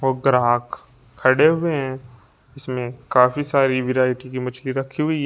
और ग्राहक खड़े हुए हैं इसमें काफी सारी वैरायटी की मछली रखी हुई--